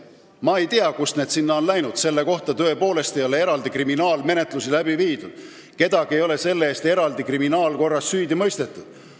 Ma ei tea, kust on see info ajakirjandusse läinud – selle kohta ei ole tõepoolest eraldi kriminaalmenetlusi läbi viidud, kedagi ei ole selle eest kriminaalkorras süüdi mõistetud.